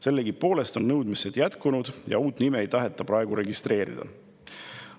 Sellegipoolest on nõudmised jätkunud ja uut nime ei taheta praegu registreerida.